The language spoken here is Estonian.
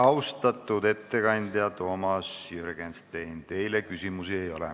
Austatud ettekandja Toomas Jürgenstein, teile küsimusi ei ole.